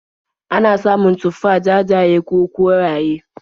Ana samun tufah jajaye ko koraye.